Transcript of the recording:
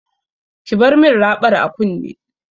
Ki bar min raɓar a kunne!